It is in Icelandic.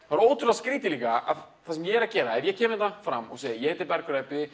það er ótrúlega skrítið líka að það sem ég er að gera ef ég kem hérna fram og segi ég heiti Bergur